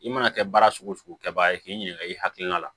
I mana kɛ baara sugu kɛbaga ye k'i ɲininka i hakilina la